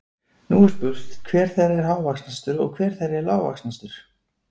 Nú er spurt, hver þeirra er hávaxnastur og hver þeirra er lágvaxnastur?